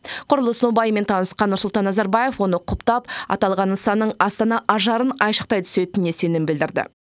құрылыс нобайымен танысқан нұрсұлтан назарбаев оны құптап аталған нысанның астана ажарын айшықтай түсетініне сенім білдірді